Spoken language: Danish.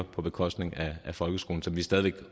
på bekostning af folkeskolen som vi stadig væk